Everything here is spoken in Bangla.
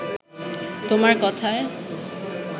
তোমার কথায়